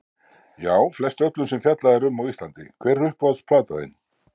Já flest öllum sem fjallað er um á íslandi Hver er uppáhalds platan þín?